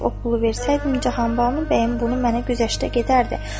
O pulu versəydim, Cahanbanu bəyə bunu mənə güzəştə gedərdi.